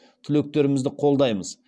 түлектерімізді қолдаймыз